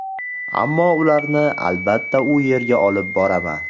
Ammo ularni, albatta, u yerga olib boraman”.